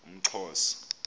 umxhosa